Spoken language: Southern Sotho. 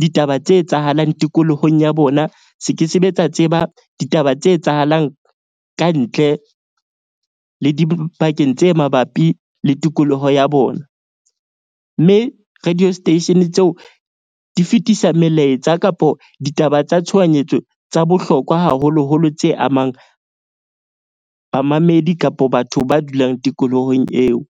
ditaba tse etsahalang tikolohong ya bona. Se ke sebe tsa tseba ditaba tse etsahalang kantle le dibakeng tse mabapi le tikoloho ya bona. Mme radio station tseo di fetisa melaetsa kapo ditaba tsa tshohanyetso tsa bohlokwa, haholoholo tse amang bamamedi kapo batho ba dulang tikolohong eo.